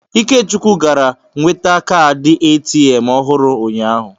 Ikechukwu gara nweta kaadị ATM ọhụrụ ụnyahụ.